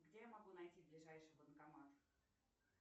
где я могу найти ближайший банкомат